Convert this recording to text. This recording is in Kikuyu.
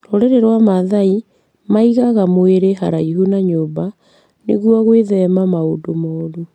Rũrĩrĩ rwa Maathai maigaga mwĩrĩ haraihu na nyũmba nĩguo gwĩthema maũndũ moru.